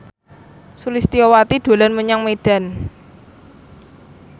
Sulistyowati dolan menyang Medan